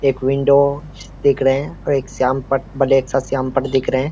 एक विंडो दिख रहे हैं सीएमपत एक सीएमपत दिख रहे हैं।